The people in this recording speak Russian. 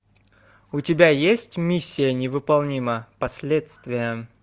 у тебя есть миссия невыполнима последствия